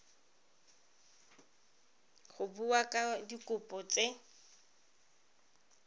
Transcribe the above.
go bua ka dikopo tse